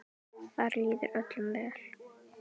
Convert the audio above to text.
Þar líður öllum vel.